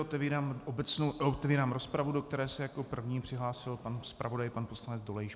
Otvírám rozpravu, do které se jako první přihlásil pan zpravodaj pan poslanec Dolejš.